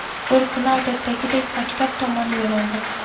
Bir kuni odatdagidek, maktab tomon yo‘l oldim.